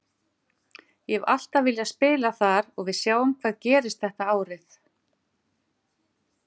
Ég hef alltaf viljað spila þar og við sjáum hvað gerist þetta árið.